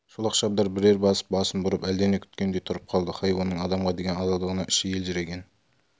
шолақ шабдар бірер басып басын бұрып әлдене күткендей тұрып қалды хайуанның адамға деген адалдығына іші елжіреген